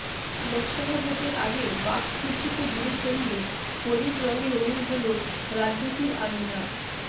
লোকসভা ভোটের আগে বাক যুদ্ধকে দূরে সরিয়ে হোলির রঙে রঙিন হল রাজনীতির আঙিনা